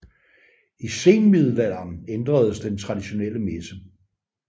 I senmiddelalderen ændredes den traditionelle messe